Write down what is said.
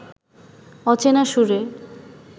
অচেনা সুরে